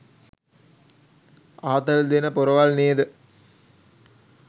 ආතල් දෙන පොරවල් නේද?